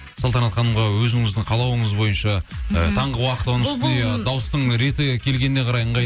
салтанат ханымға өзіңіздің қалауыңыз бойынша ы таңғы уақыт дауыстың реті келгеніне қарай